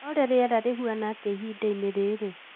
olly rĩera rĩhana atĩa ihinda-inĩ rĩrĩ